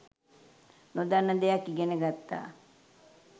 නොදන්න දෙයක් ඉගෙන ගත්තා